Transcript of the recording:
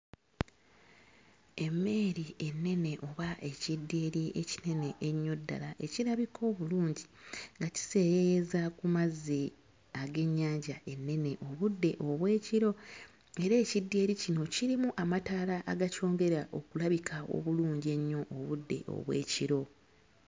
Emmeeri ennene oba ekidyeri ekinene ennyo ddala ekirabika obulungi nga kiseeyeeyeza ku mazzi ag'ennyanja ennene mu budde obw'ekiro era ekidyeri kino kirimu amataala agakyongera okulabika obulungi ennyo mu budde obw'ekiro.